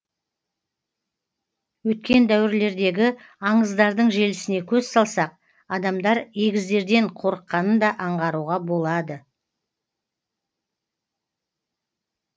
өткен дәуірлердегі аңыздардың желісіне көз салсақ адамдар егіздерден қорыққанын да аңғаруға болады